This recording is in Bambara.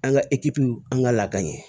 An ka ekipuw an ka lade